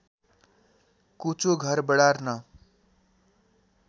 कुचो घर बढार्न